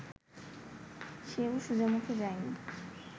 সেও সোজামুখে যায়নি